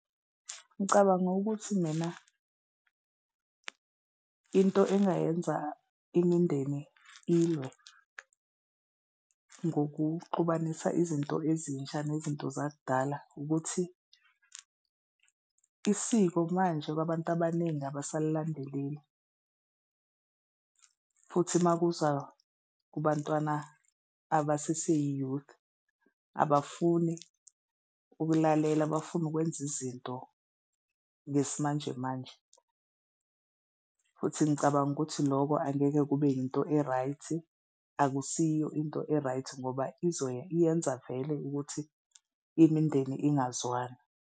Ngicabanga ukuthi mina into engayenza imindeni ilwe ngokuxubanisa izinto ezintsha nezinto zakudala ukuthi isiko manje kwabantu abaningi abasalilandeleli futhi makuza kubantwana aba sese i-youth, abafuni ukulalela, bafuna ukwenza izinto ngesimanjemanje. Futhi ngicabanga ukuthi loko angeke kube yinto e-right-i, akusiyo into e-right ngoba izoya iyenza vele ukuthi imindeni ingazwani.